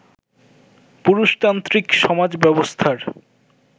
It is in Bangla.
পুরুষতান্ত্রিক সমাজ ব্যবস্থার